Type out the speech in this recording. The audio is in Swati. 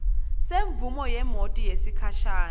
semvumo yemoti yesikhashana